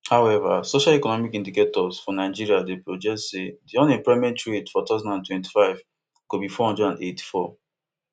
however social economic indicators for nigeria dey project say di unemployment rate for two thousand and twenty-five go be four hundred and eighty-four